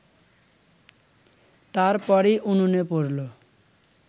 তার পরই উনুনে পড়ল